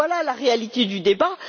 Voilà la réalité du débat.